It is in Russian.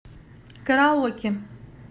караоке